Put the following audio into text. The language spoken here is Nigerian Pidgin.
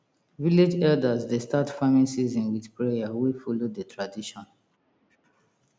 village elders dey start farming season with prayer wey follow the tradition